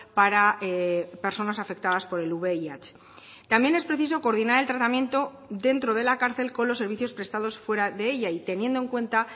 para personas afectadas por el vih también es preciso coordinar el tratamiento dentro de la cárcel con los servicios prestados fuera de ella y teniendo en cuenta